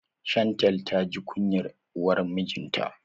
Shantel ta ji kunyar uwar mijinta.